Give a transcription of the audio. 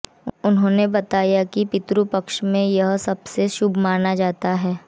उन्होंने बताया कि पितृपक्ष में यह सबसे शुभ माना जाता है